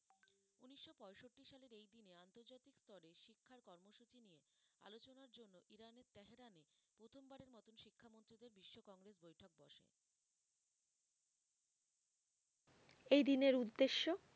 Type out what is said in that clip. এই দিনের উদ্দেশ্য?